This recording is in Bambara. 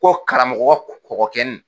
Ko karamɔgɔ kɔkɔ kɛnin.